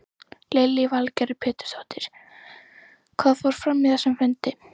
Lillý Valgerður Pétursdóttir: Hvað fór fram á þessum fundi?